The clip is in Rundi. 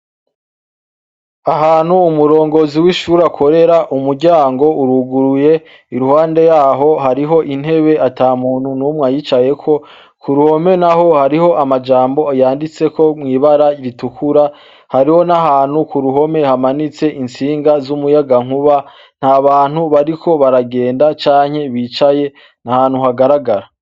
Ahantu umurongozi w'ishure akorera umuryango uruguruye, iruhande yaho hariho intebe ata muntu numwe ayicayeko, ku ruhome naho hariho amajambo yanditseko mw'ibara ritukura, hariho n'ahantu ku ruhome hamanitse intsinga z'umuyagankuba, nta bantu bariko baragenda canke bicaye, ni ahantu hagaragara.